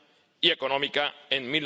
y económica en